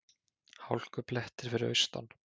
Hálkublettir fyrir austan